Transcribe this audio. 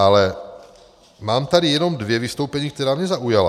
Ale mám tady jenom dvě vystoupení, která mě zaujala.